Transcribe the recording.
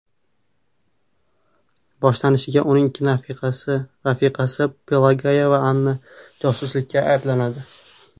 Boshlanishiga, uning ikki rafiqasi Pelageya va Anna josuslikda ayblanadi.